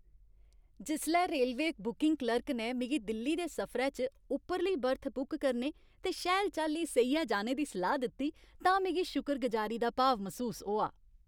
जिसलै railway booking clerk ने मिगी दिल्ली दे सफरै च उप्परली बर्थ बुक करने ते शैल चाल्ली सेइयै जाने दा सलाह् दित्ती तां मिगी शुकरगुजारी दा भाव मसूस होआ ।